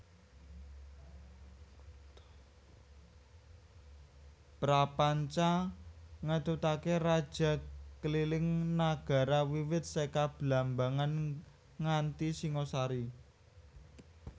Prapanca ngetutake raja kliling nagara wiwit seka Blambangan nganti Singosari